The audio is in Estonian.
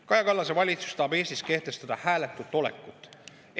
Kaja Kallase valitsus tahab Eestis kehtestada hääletut olekut.